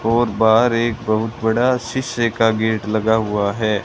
और बाहर एक बहुत बड़ा शीशे का गेट लगा हुआ है।